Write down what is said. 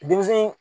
Denmisɛn